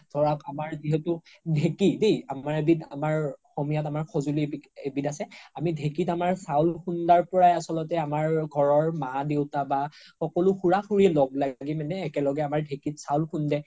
ধৰক আমৰ যিহেতু ধেকি দেই আমাৰ এবিধ অসমীয়াত আমাৰ সজোলি এবিধ আছে আমি ধেকিত আমাৰ চাউল খুন্দাৰ পৰা আচলতে আমাৰ ঘৰৰ মা দেউতা বা সকলো খুৰা খুৰি লগ লাগি মানে একেলগে আমাৰ ধেকিত চাউল খুন্দে